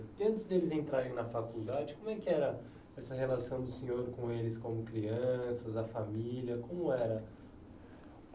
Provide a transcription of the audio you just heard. Antes deles entrarem na faculdade, como é que era essa relação do senhor com eles como crianças, a família, como era?